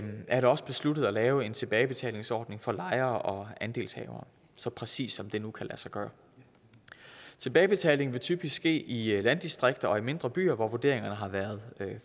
er det også besluttet at lave en tilbagebetalingsordning for lejere og andelshavere så præcis som det nu kan lade sig gøre tilbagebetaling vil typisk ske i landdistrikter og i mindre byer hvor vurderingerne har været